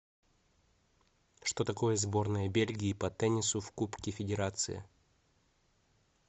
что такое сборная бельгии по теннису в кубке федерации